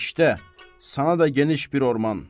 İşdə, sana da geniş bir orman.